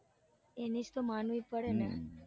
એની જ તો માનવી પડે ને. હમ